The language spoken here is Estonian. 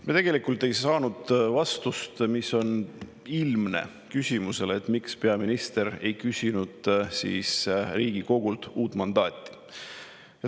Me tegelikult ei saanud vastust, mis on ilmne, küsimusele, miks peaminister ei küsinud Riigikogult uut mandaati.